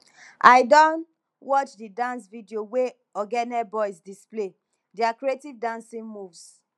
i don watch di dance video wey ogene boys display their creative dancing moves